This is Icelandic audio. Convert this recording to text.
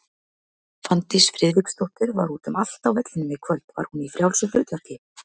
Fanndís Friðriksdóttir var út um allt á vellinum í kvöld, var hún í frjálsu hlutverki?